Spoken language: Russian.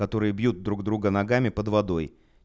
которые бьют друг друга ногами под водой